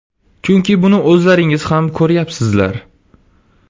Chunki buni o‘zlaringiz ham ko‘ryapsizlar.